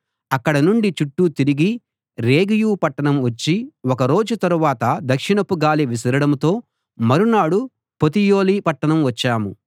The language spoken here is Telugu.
అక్కడ నుండి చుట్టూ తిరిగి రేగియు పట్టణం వచ్చి ఒక రోజు తరువాత దక్షిణపు గాలి విసరడంతో మరునాడు పొతియొలీ పట్టణం వచ్చాం